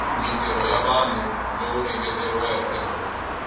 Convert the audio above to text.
mintirho ya vanhu lowu engeteriweke